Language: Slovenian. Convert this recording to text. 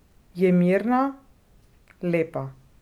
Je mirna, lepa.